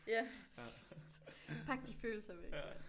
Ja! Pak de følelser væk